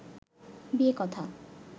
বিয়ে কথা